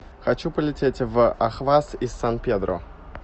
хочу полететь в ахваз из сан педро